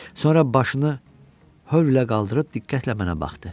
Sonra başını hörr ilə qaldırıb diqqətlə mənə baxdı.